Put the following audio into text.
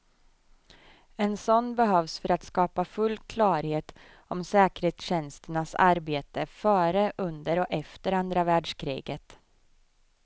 En sådan behövs för att skapa full klarhet om säkerhetstjänsternas arbete före, under och efter andra världskriget.